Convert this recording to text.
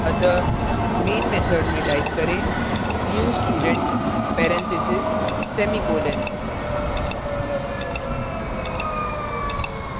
अतः name method में type करें new student parentheses semi colon